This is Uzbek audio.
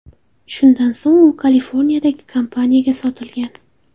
Shundan so‘ng u Kaliforniyadagi kompaniyaga sotilgan.